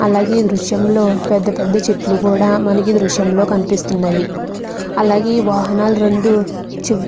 అలాగే ఇక్కడ పెద్ద పెద్ద చెట్లు ఉన్నాయ్.